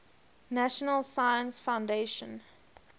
national science foundation